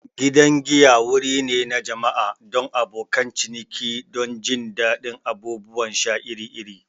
Gidan giya wuri ne na jama'a don abokan ciniki don jin daɗin abubuwan sha iri-iri.